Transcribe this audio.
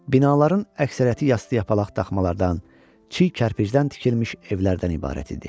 Binaların əksəriyyəti yastı yapalaq daşmalardan, çiy kərpicdən tikilmiş evlərdən ibarət idi.